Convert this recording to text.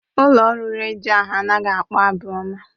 Ụlọ ọrụ redio ahụ anaghị akpọ abụ ọma.